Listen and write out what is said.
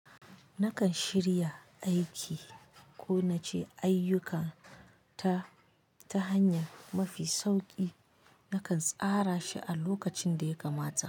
Nakan shirya aiki ko nace ayyukata ta hanya mafi sauki nakan tsara shi a lokacin da ya kamata.